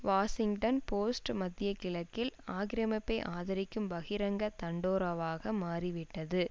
Washington Post மத்திய கிழக்கில் ஆக்கிரமிப்பை ஆதரிக்கும் பகிரங்க தண்டோராவாக மாறிவிட்டது